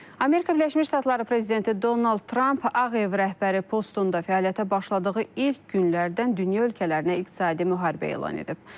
Amerika Birləşmiş Ştatları prezidenti Donald Tramp Ağ Ev rəhbəri postunda fəaliyyətə başladığı ilk günlərdən dünya ölkələrinə iqtisadi müharibə elan edib.